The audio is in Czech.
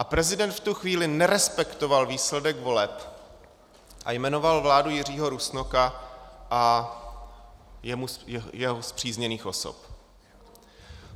A prezident v tu chvíli nerespektoval výsledek voleb a jmenoval vládu Jiřího Rusnoka a jeho spřízněných osob.